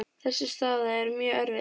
Þessi staða er mjög erfið.